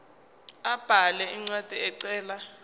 abhale incwadi ecela